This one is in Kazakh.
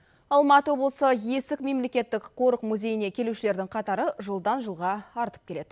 алматы облысы есік мемлекеттік қорық музейіне келушілердің қатары жылдан жылға артып келеді